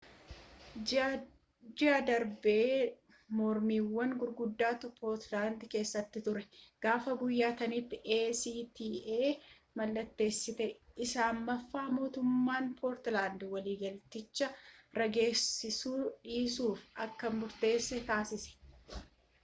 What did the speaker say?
ji'a darbe mormiiwwan guguddootu poolaandii keessa ture gaafa biyyattiin acta mallatteessite isa ammaaf mootummaan poolaandii waliigaltecha raggaasisuu dhiisuuf akka murteessu taasise